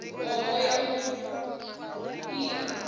hoho ya mui i a